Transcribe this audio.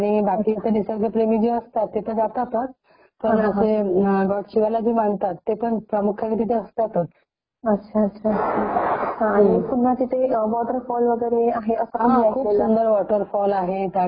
खूप सुंदर वॉटरफॉल आहे आणि एकदम सुंदर म्हणजे असं वाटत जणू एकदम निसर्गाच्या सानिध्यातच आलोय कि काय असं वाटत.जस प्रदूषनाच्या दूर असं सकाळी सकाळी पण खूप छान असं म्हणजे ऑसम हा .